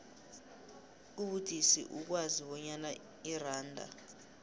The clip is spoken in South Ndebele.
kubudisi ukwazi bonyana iranda